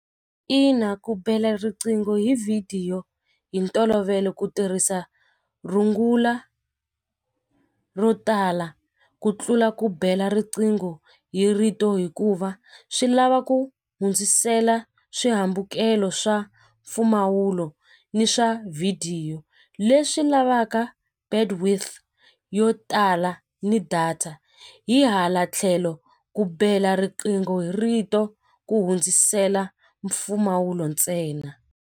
Ina ku bela riqingho hi vhidiyo hi ntolovelo ku tirhisa rungula ro tala ku tlula ku bela riqingho hi rito hikuva swi lava ku hundzisela swihambukelo swa mpfumawulo ni swa vhidiyo leswi lavaka bandwidth yo tala ni data hi hala tlhelo ku bela riqingho hi rito ku hundzisela mpfumawulo ntsena.